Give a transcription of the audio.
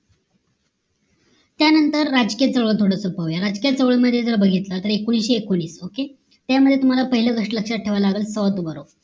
त्यानंतर राजकीय चळवळ थोडंस पाहूया राजकीय चळवळ मध्ये जर बघितला तर एकोणाविषे एकोणीस okay त्या मध्ये पाहिलं तुम्हाला लक्ष्यात ठेवाव लागेल south buro